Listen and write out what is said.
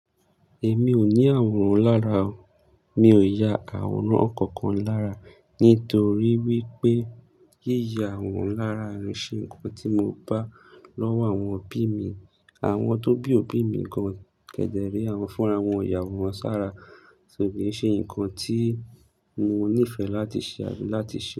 Èmi ò ní àwòrán lára o. Mi ò ya àwòrán kankan lára nítorí wípé yíya àwòrán ara ò ń ṣe nǹkan tí mo bá lọ́wọ́ àwọn òbí mi. Àwọn tó bí òbí mi gan-an kẹ̀dẹ̀ rèé àwọn fúnra wọn ò yàwòrán sára. So kìí ṣe nǹkan tí mo nífẹ̀ẹ́ láti ṣe àbí láti ṣe.